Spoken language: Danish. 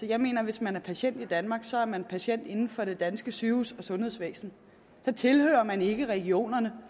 jeg mener at hvis man er patient i danmark så er man patient inden for det danske sygehus og sundhedsvæsen så tilhører man ikke regionerne